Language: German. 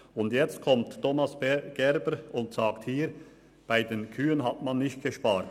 Und jetzt kommt Thomas Gerber und sagt, bei den Kühen habe man nicht gespart.